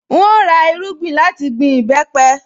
N óò ra irúgbìn láti gbin ìbẹ́pẹ